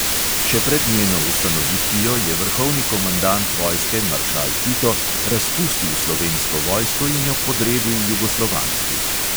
Še pred njeno ustanovitvijo je vrhovni komandant vojske maršal tito razpustil slovensko vojsko in jo podredil jugoslovanski.